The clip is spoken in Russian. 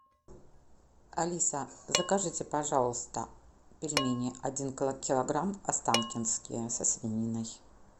алиса закажите пожалуйста пельмени один килограмм останкинские со свининой